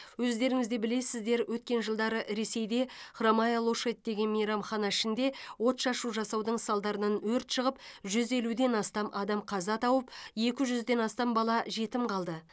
өздеріңізде білесіздер өткен жылдары ресейде хромая лошадь деген мейрамхана ішінде отшашу жасаудың салдарынан өрт шығып жүз елуден астам адам қаза тауып екі жүзден астам бала жетім қалды